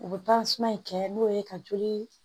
U bɛ in kɛ n'o ye ka joli